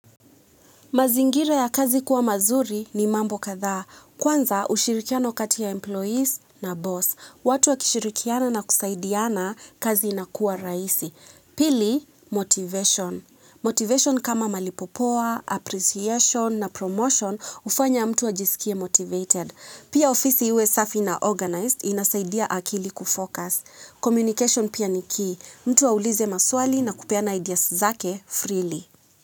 Mazingira ya kazi kuwa mazuri ni mambo kathaa. Kwanza ushirikiano kati ya employees na boss. Watu wakishirikiana na kusaidiana kazi inakuwa rahisi. Pili, motivation. Motivation kama malipo poa, appreciation na promotion hufanya mtu ajisikie motivated. Pia ofisi iwe safi na organized inasaidia akili kufocus. Communication pia ni key. Mtu aulize maswali na kupeana ideas zake freely.